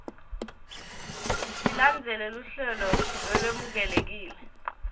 tilandzele luhlelo lolwemukelekile